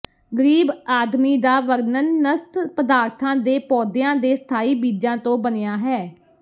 ਗਰੀਬ ਆਦਮੀ ਦਾ ਵਰਣਨ ਨਸਤ ਪਦਾਰਥਾਂ ਦੇ ਪੌਦਿਆਂ ਦੇ ਸਥਾਈ ਬੀਜਾਂ ਤੋਂ ਬਣਿਆ ਹੈ